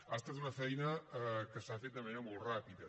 ha estat una feina que s’ha fet de manera molt ràpida